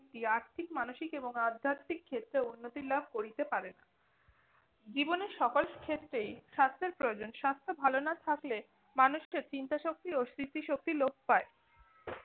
আর্থিক মানসিক এবং আধ্যাত্মিক ক্ষেত্রেও উন্নতি লাভ করিতে পারে না। জীবনে সকল ক্ষেত্রেই স্বাস্থ্যের প্রয়োজন। স্বাস্থ্য ভাল না থাকলে, মানুষের চিন্তা শক্তি ও স্মৃতি শক্তি লোপ পায়।